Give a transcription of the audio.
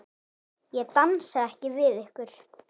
Ég dansa ekki við ykkur.